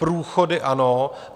Průchody ano.